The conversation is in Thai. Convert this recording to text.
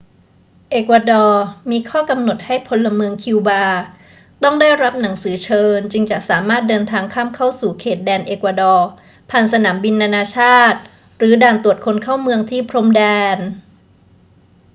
เอกวาดอร์มีข้อกำหนดให้พลเมืองคิวบาต้องได้รับหนังสือเชิญจึงจะสามารถเดินทางข้ามเข้าสู่เขตแดนเอกวาดอร์ผ่านสนามบินนานาชาติหรือด่านตรวจคนเข้าเมืองที่พรมแดน